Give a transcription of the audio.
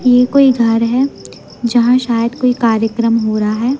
ये कोई घर है जहां शायद कोई कार्यक्रम हो रहा है।